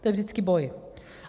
To je vždycky boj.